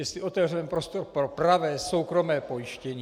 Jestli otevřeme prostor pro pravé soukromé pojištění.